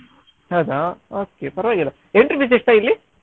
ಹೌದಾ okay ಪರವಾಗಿಲ್ಲ entry fees ಎಷ್ಟ ಇಲ್ಲಿ?